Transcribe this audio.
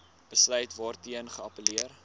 besluit waarteen geappelleer